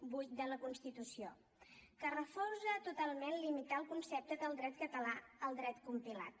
vuit de la constitució que refusa totalment limitar el concepte del dret català al dret compilat